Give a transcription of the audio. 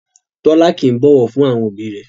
Tọ́lá kìí bọ̀wọ̀ fún àwọn òbí rẹ̀